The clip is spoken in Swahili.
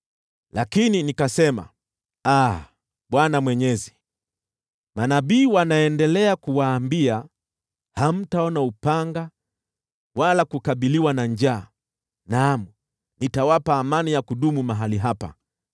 Lakini nikasema, “Aa, Bwana Mwenyezi, manabii wanaendelea kuwaambia, ‘Hamtaona upanga wala kukabiliwa na njaa. Naam, nitawapa amani ya kudumu mahali hapa.’ ”